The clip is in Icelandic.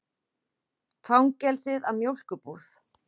Fangelsið að mjólkurbúð.